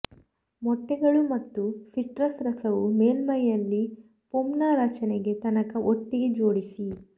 ಮೊಟ್ಟೆಗಳು ಮತ್ತು ಸಿಟ್ರಸ್ ರಸವು ಮೇಲ್ಮೈಯಲ್ಲಿ ಫೋಮ್ನ ರಚನೆಗೆ ತನಕ ಒಟ್ಟಿಗೆ ಜೋಡಿಸಿ